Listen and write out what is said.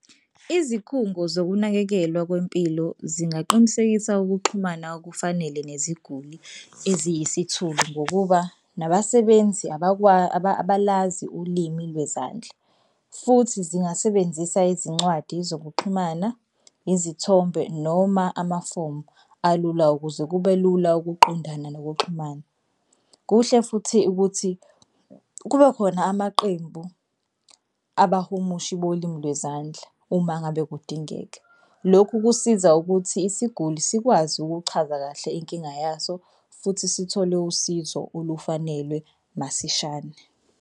Izikhungo zokunakekelwa kwempilo zingaqinisekisa ukuxhumana okufanele neziguli eziyisithuli ngokuba nabasebenzi abalazi ulimi lwezandla futhi zingasebenzisa izincwadi zokuxhumana, izithombe noma amafomu alula ukuze kube lula ukuqondana nokuxhumana. Kuhle futhi ukuthi kube khona amaqembu abahumushi bolimi lwezandla uma ngabe kudingeka. Lokhu kusiza ukuthi isiguli sikwazi ukuchaza kahle inkinga yaso futhi sithole usizo olufanelwe masishane.